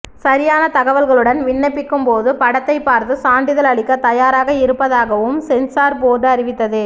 சரியான தகவல்களுடன் விண்ணப்பிக்கும்போது படத்தைப் பார்த்து சான்றிதழ் அளிக்கத் தயாராக இருப்பதாகவும் சென்சார் போர்டு அறிவித்தது